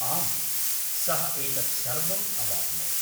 आम्, सः एतत् सर्वम् अवाप्नोत्।